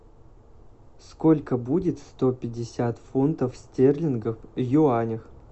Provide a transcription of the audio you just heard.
сколько будет сто пятьдесят фунтов стерлингов в юанях